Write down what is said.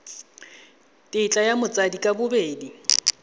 tetla ya batsadi ka bobedi